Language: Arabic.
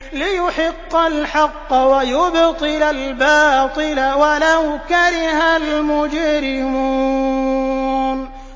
لِيُحِقَّ الْحَقَّ وَيُبْطِلَ الْبَاطِلَ وَلَوْ كَرِهَ الْمُجْرِمُونَ